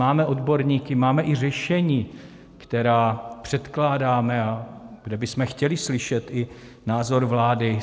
Máme odborníky, máme i řešení, která předkládáme a kde bychom chtěli slyšet i názor vlády.